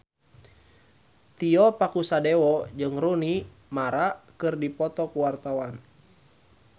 Tio Pakusadewo jeung Rooney Mara keur dipoto ku wartawan